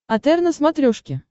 отр на смотрешке